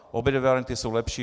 Obě varianty jsou lepší.